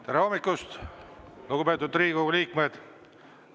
Tere hommikust, lugupeetud Riigikogu liikmed!